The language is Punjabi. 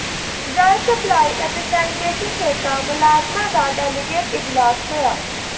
ਜਲ ਸਪਲਾਈ ਅਤੇ ਸੈਨੀਟੇਸ਼ਨ ਠੇਕਾ ਮੁਲਾਜ਼ਮਾਂ ਦਾ ਡੈਲੀਗੇਟ ਇਜਲਾਸ ਹੋਇਆ